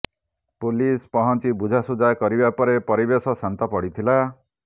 police ପହଞ୍ଚି ବୁଝାସୁଝା କରିବା ପରେ ପରିବେଶ ଶାନ୍ତ ପଡ଼ିଥିଲା